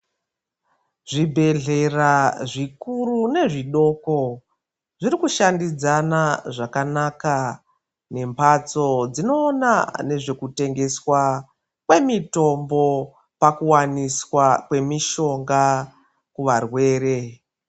Zvibhedhlera zvikuru nezvidoko zviri kushandidzana zvakanaka nemphatso dzinoona nezvekutengeswa kwemitombo pakuwaniswa kwemishonga kuvarwere.